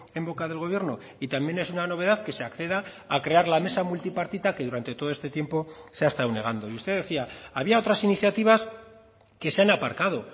en boca del gobierno y también es una novedad que se acceda a crear la mesa multipartita que durante todo este tiempo se ha estado negando y usted decía había otras iniciativas que se han aparcado